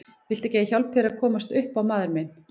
Viltu ekki að ég hjálpi þér að komast upp á maður minn.